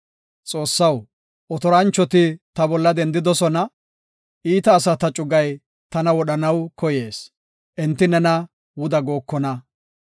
Xoossaw, otoranchoti ta bolla dendidosona; iita asata cugay tana wodhanaw koyees; enti nena wuda gookona.